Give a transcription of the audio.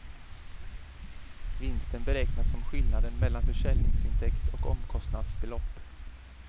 Vinsten beräknas som skillnaden mellan försäljningsintäkt och omkostnadsbelopp.